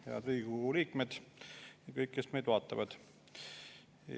Head Riigikogu liikmed ja kõik, kes meid vaatavad!